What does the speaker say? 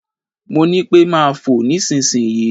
Mo ní pẹ́ máa fò nísinsìnyí.